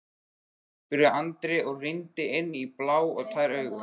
spurði Andri og rýndi inn í blá og tær augun.